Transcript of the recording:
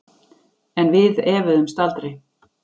En við efuðumst aldrei.